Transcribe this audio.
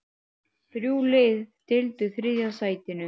Þrjú lið deildu þriðja sætinu.